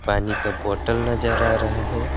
पानी का बोतल नजर आ रहा है।